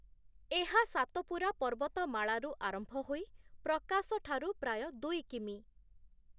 ଏହା ସାତପୁରା ପର୍ବତମାଳାରୁ ଆରମ୍ଭ ହୋଇ ପ୍ରକାଶଠାରୁ ପ୍ରାୟ ଦୁଇ କି.ମି ।